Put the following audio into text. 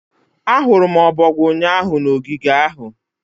Ahụrụ m ọbọgwụ ụnyaahụ na ogige ahụ